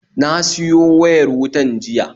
Na siyo wayar wutan jiya